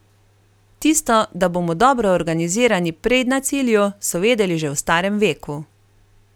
Tisto, da bomo dobro organizirani prej na cilju, so vedeli že v starem veku.